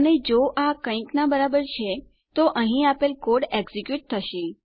અને જો આ કઈક ના બરાબર છે તો અહીં આપેલ કોડ એક્ઝેક્યુટ થશે